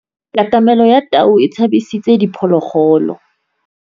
Katamêlô ya tau e tshabisitse diphôlôgôlô.